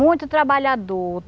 Muito trabalhador.